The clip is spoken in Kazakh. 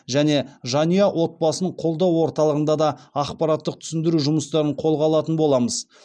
және жанұя отбасын қолдау орталығында да ақпараттық түсіндіру жұмыстарын қолға алатын боламыз